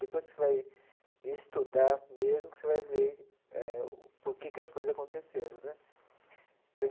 Depois que vai estudar, mesmo, que você vai ver eh por que que as coisas aconteceram né.